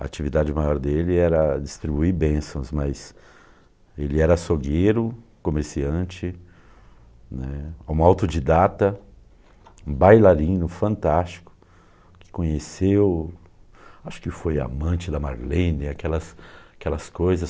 A atividade maior dele era distribuir bênçãos, mas ele era açougueiro, comerciante né um autodidata, bailarino fantástico, que conheceu, acho que foi amante da Marlene, aquelas aquelas coisas.